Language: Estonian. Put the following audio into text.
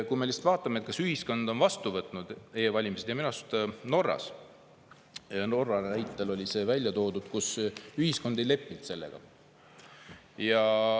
Kui me vaatame, kas ühiskond on e-valimised vastu võtnud, siis minu arust Norra näitel oli see välja toodud, et ühiskond ei lepi sellega.